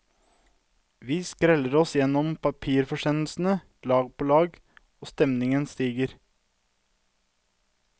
Vi skreller oss gjennom papirforsendelsen, lag på lag, og stemningen stiger.